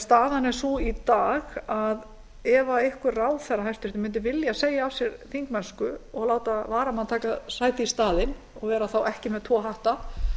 staðan er sú í dag að ef einhver hæstvirtur ráðherra mundi vilja segja af sér þingmennsku og láta varamann taka sæti í staðinn og vera þá ekki með tvo hatta